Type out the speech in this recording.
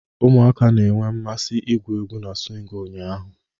Ụmụaka na-enwe mmasị igwu egwu na swing ụnyaahụ.